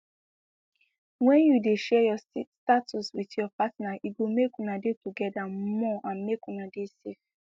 when you de share your sti status with ur partner e go make una de together more and make una de safe